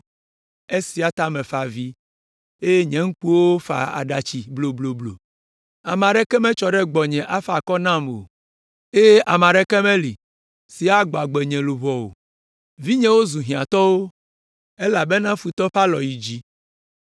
“Esia ta mefa avi eye nye ŋkuwo fa aɖatsi blobloblo. Ame aɖeke metsɔ ɖe gbɔnye afa akɔ nam o eye ame aɖeke meli si agbɔ agbe nye luʋɔ o. Vinyewo zu hiãtɔwo elabena futɔ ƒe alɔ yi dzi.”